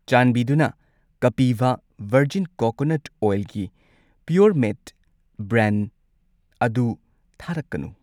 ꯆꯥꯟꯕꯤꯗꯨꯅ ꯀꯄꯤꯚꯥ virgin coconut ꯑꯣꯏꯜꯒꯤ ꯄꯤꯌꯣꯔꯃꯦꯠ ꯕ꯭ꯔꯦꯟꯗ ꯑꯗꯨ ꯊꯥꯔꯛꯀꯅꯨ꯫